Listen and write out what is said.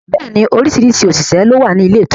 Bẹẹ ni orísìírísìí òṣìṣẹ́ ló wà ní ilé ìtura